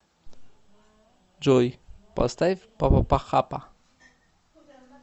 джой поставь папахапа